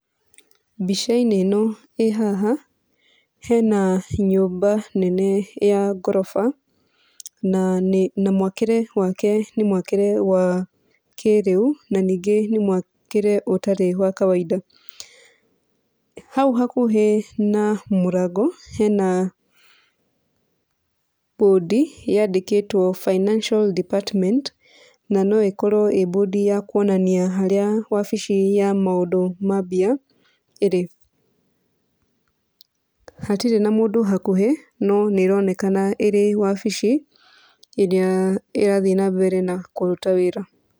Mbica-inĩ ĩno ĩ haha hena nyũmba nene ya ngoroba, na nĩ na mwakĩre wake nĩ mwakĩre wa kĩrĩu na ningĩ nĩ mwakĩre ũtarĩ wa kawainda. Hau hakuhĩ na mũrango hena mbũndi yandĩkĩtwo finacial department. Na no ĩkorwo ĩ mbũndi ya kuonania harĩa wabici ya maũndũ ma mbia ĩrĩ. Hatirĩ na mũndũ hakuhĩ no nĩĩronekana ĩrĩ wabici ĩrĩa ĩrathiĩ na mbere na kũruta wĩra.